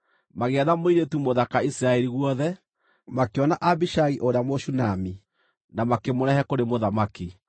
Magĩetha mũirĩtu mũthaka Isiraeli guothe, makĩona Abishagi ũrĩa Mũshunami, na makĩmũrehe kũrĩ mũthamaki.